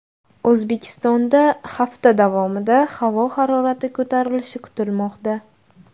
O‘zbekistonda hafta davomida havo harorati ko‘tarilishi kutilmoqda .